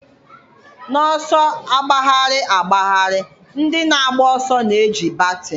N'ọsọ agbagharị agbagharị, ndị na-agba ọsọ na-eji baton.